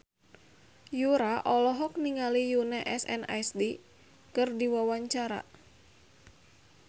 Yura olohok ningali Yoona SNSD keur diwawancara